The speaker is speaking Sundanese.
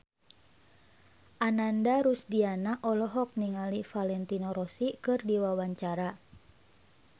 Ananda Rusdiana olohok ningali Valentino Rossi keur diwawancara